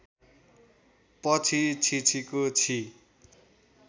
पछि छिछिको छि